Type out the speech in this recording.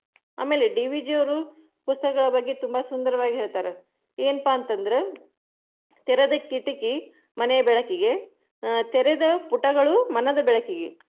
ಆಮೇಲೆ DVG ಅವ್ರು ಪುಸ್ತಕಗಳ ಬಗ್ಗೆ ಸುಂದರವಾಗಿ ಹೇಳತಾರ, ಏನ್ಪಾ ಅಂತಂದ್ರೆ, ತೆರೆದ ಕಿಟಕಿ ಮನೆಯ ಬೆಳಕಿಗೆ ಆ ತೆರೆದ ಪುಟಗಳು ಮನದ ಬೆಳಕಿಗೆ.